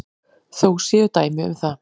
Þó séu dæmi um það.